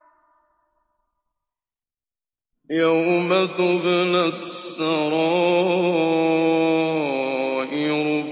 يَوْمَ تُبْلَى السَّرَائِرُ